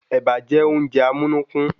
Ẹ̀bà jẹ́ oúnjẹ amúnúkún